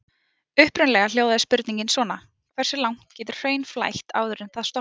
Upprunalega hljóðaði spurningin svona: Hversu langt getur hraun flætt áður en það storknar?